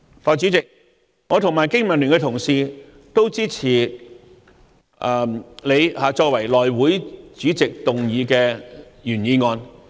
代理主席，我和經民聯的同事也支持你作為內務委員會主席動議的原議案。